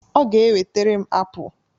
Ọ ga e wetere m apụl